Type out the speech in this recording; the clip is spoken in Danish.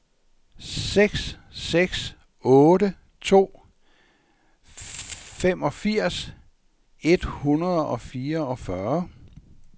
seks seks otte to femogfirs et hundrede og fireogfyrre